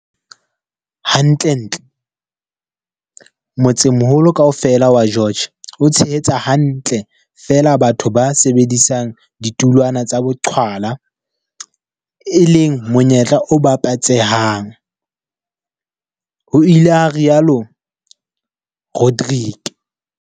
"Hantlentle, motsemoholo kaofela wa George o tshehetsa hantle feela batho ba sebedisang ditulwana tsa boqhwala, e leng monyetla o babatsehang," ho ile ha rialo Rodrique.